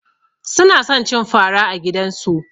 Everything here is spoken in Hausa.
Suna son cin fara a gidansu.